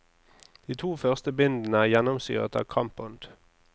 De to første bindene er gjennomsyret av kampånd.